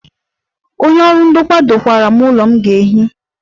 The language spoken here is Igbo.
Onye ọrụ ndokwa dokwara m ụlọ m ga-ehi.